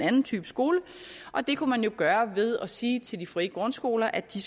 anden type skole og det kunne man jo gøre ved at sige til de frie grundskoler at de